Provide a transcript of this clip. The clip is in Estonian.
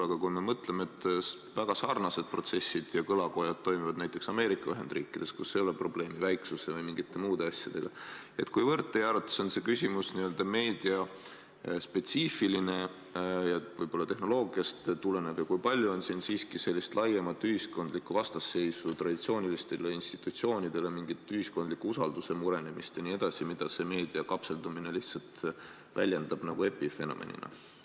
Aga kui me mõtleme, et väga sarnased protsessid ja kõlakojad toimuvad ka näiteks Ameerika Ühendriikides, kus ei ole probleemi väiksuse või mingite muude asjadega, siis kuivõrd teie arvates on see küsimus n-ö meediaspetsiifiline ja võib-olla tehnoloogiast tulenev ja kui palju on siin siiski laiemat ühiskondlikku vastasseisu traditsioonilistele institutsioonidele, mingit ühiskondliku usalduse murenemist jne, mida meedia kapseldumine lihtsalt väljendab nagu epifenomenina?